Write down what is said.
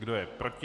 Kdo je proti?